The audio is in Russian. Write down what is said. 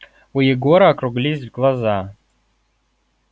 у егора округлились глаза